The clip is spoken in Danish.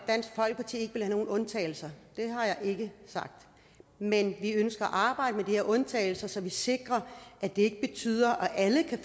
nogen undtagelser det har jeg ikke sagt men vi ønsker at arbejde med de her undtagelser så vi sikrer at det ikke betyder at alle kan